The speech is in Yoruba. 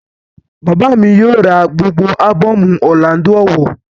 Bàbá mi yóò ra gbogbo ábọ̀mù Ọrlando Ọwọh